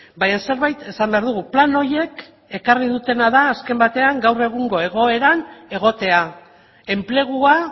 baina zerbait esan behar dugu plan horiek ekarri dutena azken batean gaur egungo egoeran egotea enplegua